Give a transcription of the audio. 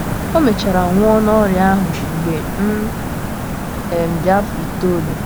O mechara nwụọ n’ọrịa ahụ mgbe m um dị afọ itoolu.